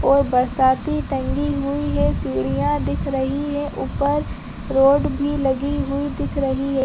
पो बरसाती टंगी हुई है सीढियाँ दिख रही है ऊपर रोड भी लगी हुई दिख रही हैं |